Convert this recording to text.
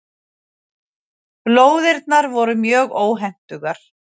Lóðirnar voru mjög óhentugar.